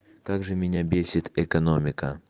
как же меня бесит экономика